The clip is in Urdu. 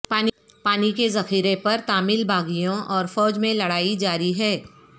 پانی کے ذخیرے پر تامل باغیوں اور فوج میں لڑائی جاری ہے